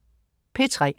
P3: